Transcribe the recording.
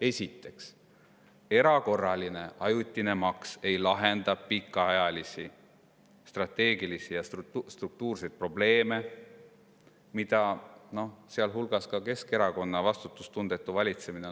Esiteks, erakorraline ajutine maks ei lahenda pikaajalisi strateegilisi ja struktuurseid probleeme, mida ka Keskerakonna vastutustundetu valitsemine